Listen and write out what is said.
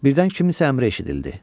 Birdən kimsə əmri eşidildi.